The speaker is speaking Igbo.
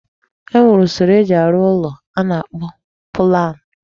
E nwere usoro eji arụ ụlọ a na-akpọ pụlan.